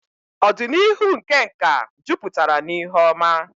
Ọdịnihu nke nka jupụtara n'ihe oma.